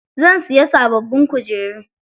Zan siya sababbin kujeru.